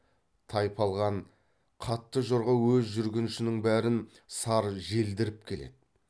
тайпалған қатты жорға өз жүргіншінің бәрін сар желдіріп келеді